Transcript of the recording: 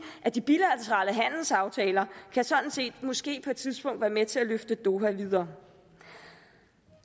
at de bilaterale handelsaftaler måske på et tidspunkt kan være med til at løfte doha videre